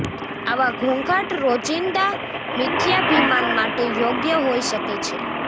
આવા ઘોંઘાટ રોજિંદા મિથ્યાભિમાન માટે યોગ્ય હોઈ શકે છે